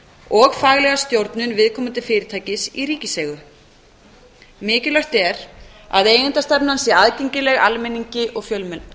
og faglega stjórnun viðkomandi fyrirtækis í ríkiseigu mikilvægt er að eigendastefnan sé aðgengileg almenningi og fjölmiðlum